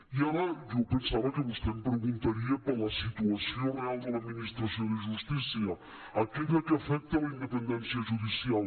i ara jo pensava que vostè em preguntaria per la situació real de l’administració de justícia aquella que afecta la independència judicial